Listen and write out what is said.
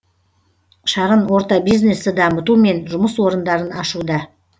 шағын орта бизнесті дамыту мен жұмыс орындарын ашуда